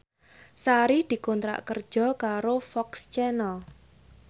Sari dikontrak kerja karo FOX Channel